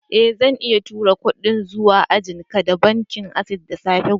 Eh, zan iya turo kudin zuwa ajian ka da bankin access da safe gobe.